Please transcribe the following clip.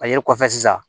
A yelen kɔfɛ sisan